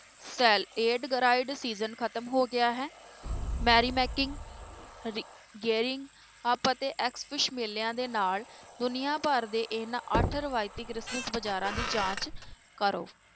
Aid ਗਰਾਈਡ season ਖ਼ਤਮ ਹੋ ਗਿਆ ਹੈ ਮੈਰੀਮੈਕਿੰਗ ਅਪ ਅਤੇ ਮੇਲਿਆਂ ਦੇ ਨਾਲ ਦੁਨੀਆਂ ਭਰ ਦੇ ਇਹਨਾਂ ਅੱਠ ਰਵਾਇਤੀ ਕ੍ਰਿਸਮਸ ਬਾਜ਼ਾਰਾਂ ਦੀ ਜਾਂਚ ਕਰੋ।